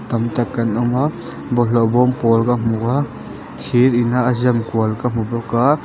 tam tak an awm a bawlhhlawh bawm pawl ka hmu a thir in a a zam kual ka hmu bawk a.